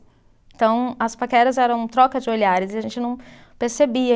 Então, as paqueras eram troca de olhares e a gente não percebia.